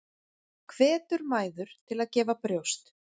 Hvetur mæður til að gefa brjóst